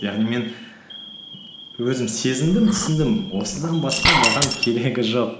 яғни мен өзім сезіндім түсіндім осыдан басқа маған керегі жоқ